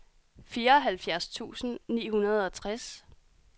fireoghalvfjerds tusind ni hundrede og tres